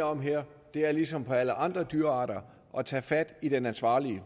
om her er ligesom for alle andre dyrearter at tage fat i den ansvarlige